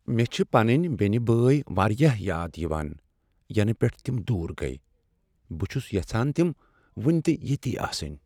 مےٚ چھ پنٕنۍ بینِہ بٲیۍ واریاہ یاد یوان ینہٕ پیٹھ تِم دور گٔیۍ۔ بہٕ چھس یژھان تِم ؤنِہ تہِ یِیتھۍ آسٕنۍ۔